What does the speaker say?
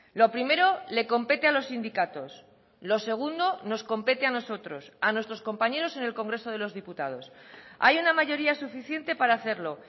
lo primero le compete a los sindicatos lo segundo nos compete a nosotros a nuestros compañeros en el congreso de los diputados hay una mayoría suficiente para hacerlo